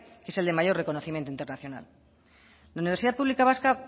que es el de mayor reconocimiento internacional la universidad pública vasca